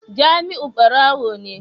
Jamiu barawo ne